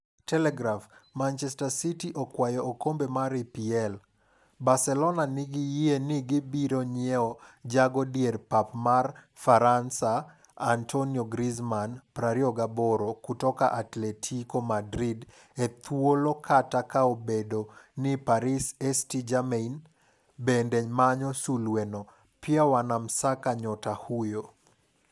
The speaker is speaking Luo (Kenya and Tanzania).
(Telegraph) Manchester City okaw okombe mar EPL. Barcelona nigi yie ni gibiro nyiew jago dier pap mar Faransa Antoine Griezmann, 28, kutoka Atletico Madrid e thuolo kata kaobedo ni Paris St-Germain bende manyo sulwe no.pia wanamsaka nyota huyo .